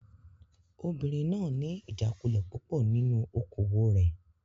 Obìnrin náà ní ìjákulẹ̀ púpọ̀ nínú okòwò rẹ̀.